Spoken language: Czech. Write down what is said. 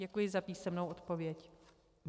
Děkuji za písemnou odpověď.